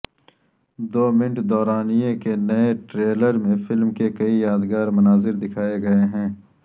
دو minute دورانیے کے نئے ٹریلر میں فلم کے کئی یادگار مناظر دکھائے گئے ہیں